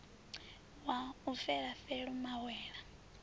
wa u fela felo mawela